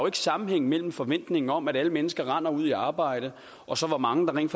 er sammenhæng mellem forventningen om at alle mennesker render ud i arbejde og så hvor mange der rent